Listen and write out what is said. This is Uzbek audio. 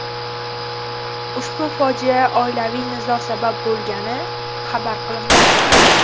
Ushbu fojiaga oilaviy nizo sabab bo‘lgani xabar qilinmoqda.